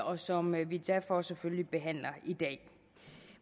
og som vi derfor selvfølgelig behandler i dag